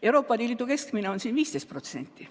Euroopa Liidu keskmine on siin 15%.